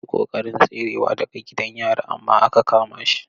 Ya yi ƙoƙarin tserewa daga gidan yari amma aka kama shi.